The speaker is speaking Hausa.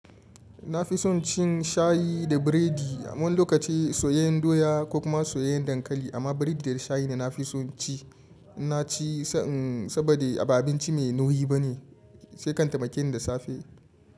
Na fi son cin shayi da biredi. Wani lokaci soyayyen doya ko kuma soyayyen dankali amma biredi da shayi ne na fi son in ci. Na ci se inn saboda ba abinci mai nauyi ba ne, shi kan taimake ni da safe.